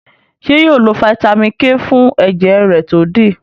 ṣe yóò lo Vitamin k fún ẹjẹ rẹ to dí?